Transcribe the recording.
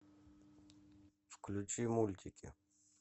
включи мультики